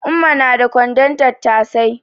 Umma na da kwandon tattasai